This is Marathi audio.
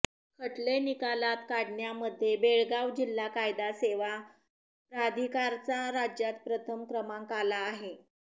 खटले निकालात काढण्यामध्ये बेळगाव जिल्हा कायदा सेवा प्राधिकारचा राज्यात प्रथम क्रमांक आला आहे